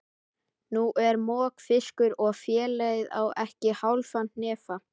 Nú er mokfiskur og félagið á ekki hálfan hnefa.